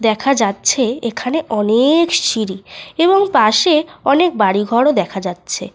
দেখা যাচ্ছে এখানে অনেক সিঁড়ি এবং পাশে অনেক বাড়ি ঘরও দেখা যাচ্ছে।